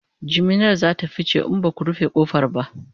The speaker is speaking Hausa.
jiminar zata fice in Baku rufe ƙofar ba